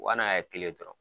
n' a ye kelen dɔrɔn